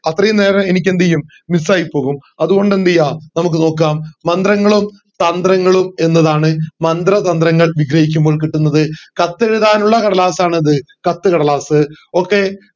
അത്രയും നേരം എനിക്ക് എന്ത് ചെയ്യും miss ആയി പോകും അത് കൊണ്ട് എന്ത് ചെയ്യാം നമുക്ക് നോക്കാം മന്ത്രങ്ങളും തന്ത്രങ്ങളും എന്നതാണ് മന്ത്രതന്ത്രങ്ങൾ വിഗ്രഹിൽക്കുമ്പോൾ കിട്ടുന്നത് കത്ത് എഴുതാനുള്ള കടലാസ് ആണ് എന്ത് കത്തുകടലാസ് okay